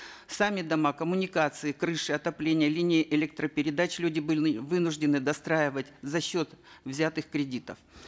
сами дома коммуникации крыши отопление линии электропередач люди были вынуждены достраивать за счет взятых кредитов